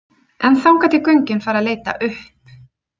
En þangað til göngin fara að leita upp?